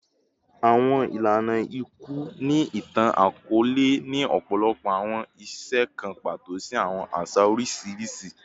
Awọn ilana iku ni itan-akọọlẹ ni ọpọlọpọ awọn iṣe kan pato si awọn aṣa oriṣiriṣi